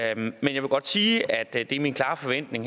jeg vil godt sige at det er min klare forventning